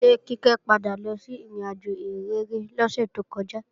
Ṣé Kíkẹ́ padà lọ sí ìrìnàjò ìhìnrere lọ́sẹ̀ tó kọjá?